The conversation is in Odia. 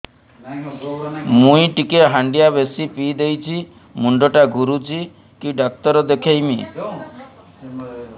ମୁଇ ଟିକେ ହାଣ୍ଡିଆ ବେଶି ପିଇ ଦେଇଛି ମୁଣ୍ଡ ଟା ଘୁରୁଚି କି ଡାକ୍ତର ଦେଖେଇମି